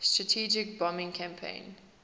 strategic bombing campaign